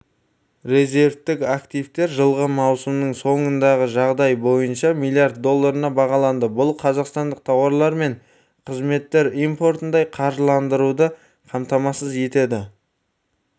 резервтік активтер жылғы маусымның соңындағы жағдай бойынша млрд долларына бағаланды бұл қазақстандық тауарлар мен қызметтер импортын ай қаржыландыруды қамтамасыз етеді